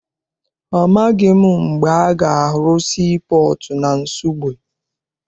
Amaghị m mgbe a ga-arụ sii pọọtụ na Nsugbe.